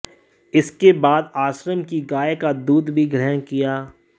इसके बाद आश्रम की गाय का दूध भी ग्रहण किया